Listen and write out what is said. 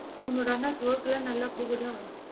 உன்னோட அண்ணாக்கு work எல்லாம் நல்லா போகுதா?